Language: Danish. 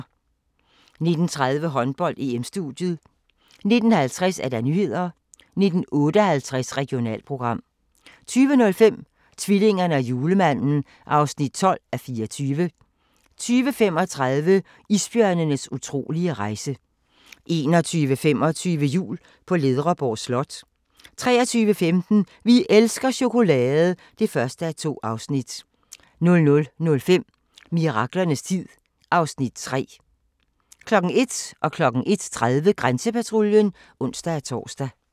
19:30: Håndbold: EM-studiet 19:50: Nyhederne 19:58: Regionalprogram 20:05: Tvillingerne og julemanden (12:24) 20:35: Isbjørnenes utrolige rejse 21:25: Jul på Ledreborg Slot 23:15: Vi elsker chokolade! (1:2) 00:05: Miraklernes tid (Afs. 3) 01:00: Grænsepatruljen (ons-tor) 01:30: Grænsepatruljen (ons-tor)